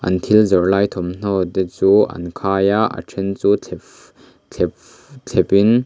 an thil zawrh lai thawmhnaw te chu an khai a a then chu thlep thlep thlenin.